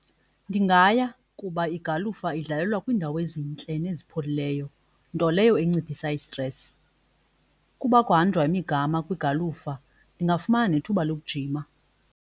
Ndingaya kuba igalufa idlalelwa kwiindawo ezintle nezipholileyo nto leyo enciphisa i-stress. Ukuba kuhanjwa imigama kwigalufa, ndingafumana nethuba lokujima.